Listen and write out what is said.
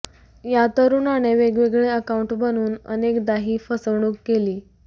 या तरुणाने वेगवेगळे अकाउंट बनवून अेकदा ही फसवणूक केली